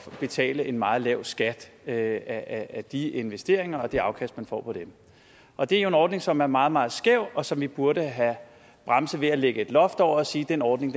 betale en meget lav skat af af de investeringer og det afkast man får på den og det er jo en ordning som er meget meget skæv og som vi burde have bremset ved at lægge et loft over og sige den ordning